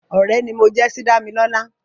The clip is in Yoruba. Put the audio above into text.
Ọ̀rẹ́ ni mo jẹ́ sí Dámilọ́lá